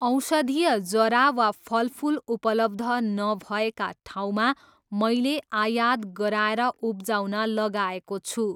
औषधीय जरा वा फलफुल उपलब्ध नभएका ठाउँमा मैले आयात गराएर उब्जाउन लगाएको छु।